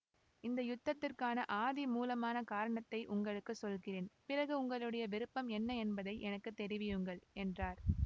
இந்த யுத்தத்திற்கு ஆதிமூலமான காரணத்தை உங்களுக்கு சொல்கிறேன் பிறகு உங்களுடைய விருப்பம் என்ன என்பதை எனக்கு தெரிவியுங்கள் என்றார்